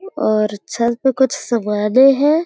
और छत पर कुछ सामान्य हैं।